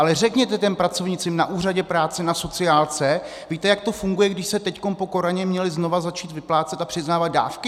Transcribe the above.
Ale řekněte těm pracovnicím na úřadě práce, na sociálce - víte, jak to funguje, když se teď po koroně měly znovu začít vyplácet a přiznávat dávky?